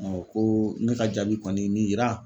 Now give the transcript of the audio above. Ɔ koo ne ka jaabi kɔni ye min yiraa